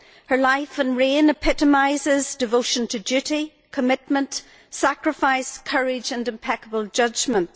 Her life and reign epitomise devotion to duty, commitment, sacrifice, courage and impeccable judgment.